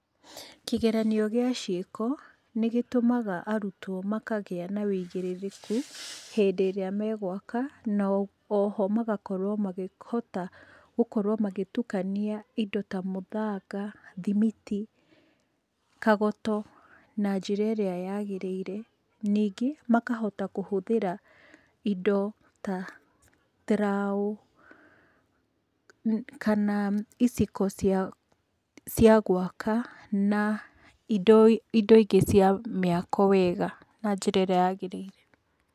Kĩgeranio gĩa ciĩko nĩgĩtũmaga arutwo makagĩa na wĩigĩrĩrĩki hĩndĩ ĩrĩa megwaka, na oho magakorwo mahĩkota gũtukania indo ta mũthanga, thimiti, kagoto na njĩra ĩrĩa yagĩrĩire. Ningĩ makahota kũhũthĩra indo ta trough kana iciko cia cia gwaka, na indo ingĩ cia mĩako wega, na njĩra ĩrĩa yagĩrĩire.